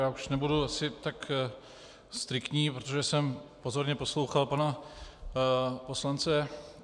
Já už nebudu asi tak striktní, protože jsem pozorně poslouchal pana poslance